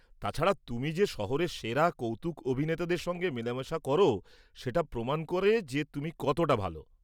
তাছাড়া, তুমি যে শহরের সেরা কৌতুক অভিনেতাদের সঙ্গে মেলামেশা কর সেটা প্রমাণ করে যে তুমি কতটা ভাল।